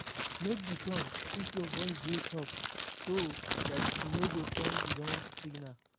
Make di tone if your voice dey soft so dat e no go send di wrong signal